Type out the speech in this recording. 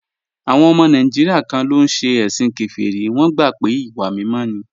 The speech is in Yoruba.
Àwọn ọmọ Nàìjíríà kan ló ń ṣe ẹ̀sìn kèfèrí, wọ́n gbà pé ìwà mímọ́ ni